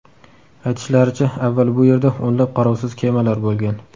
Aytishlaricha, avval bu yerda o‘nlab qarovsiz kemalar bo‘lgan.